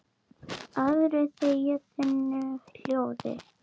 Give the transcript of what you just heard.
Aðrir þegja þunnu hljóði.